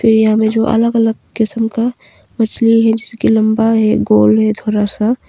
ये हमें जो अलग अलग किस्म का मछली है जिसकी लंबा है गोल है थोड़ा सा।